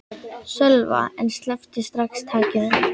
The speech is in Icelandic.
Sölva en sleppti strax takinu.